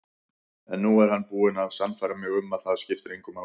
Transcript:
En nú er hann búinn að sannfæra mig um að það skiptir engu máli.